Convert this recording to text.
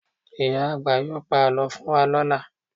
Ìyá àgbà yóò pa àlọ́ fún wa lọ́la